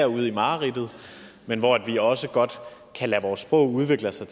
ude i mareridtet men hvor vi også godt kan lade vores sprog udvikle sig